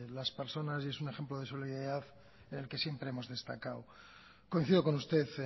las personas y es un ejemplo de solidaridad en el que siempre hemos destacado coincido con usted